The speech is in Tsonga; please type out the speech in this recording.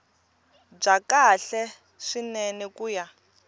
bya kahle swinene ku ya